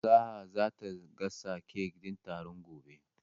Sa'a ta ce zata gasa kek din taron gobe.